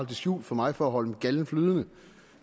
det skjult for mig for at holde min galde flydende